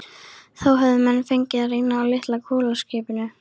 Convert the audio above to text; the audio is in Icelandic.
Það höfðu menn fengið að reyna á litla kolaskipinu